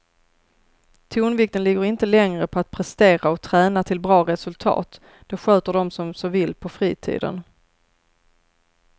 Tonvikten ligger inte längre på att prestera och träna till bra resultat, det sköter de som så vill på fritiden.